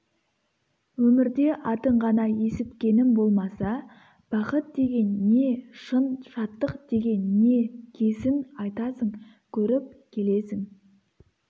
өмірде атын ғана есіткенім болмаса бақыт деген не шын шаттық деген не кесін айтасың көріп келесің